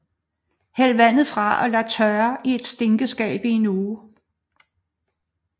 Hæld vandet fra og lad tørre i et stinkskab i en uge